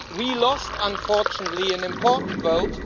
We lost, unfortunately, an important vote.